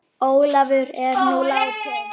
Ólafur er nú látinn.